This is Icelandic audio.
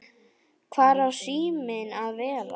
Hvar á síminn að vera?